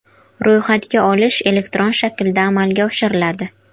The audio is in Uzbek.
Ro‘yxatga olish elektron shaklda amalga oshiriladi.